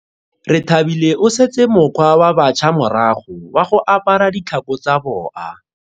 Rethabile o setse mokgwa wa batšha morago wa go apara ditlhako tsa boa.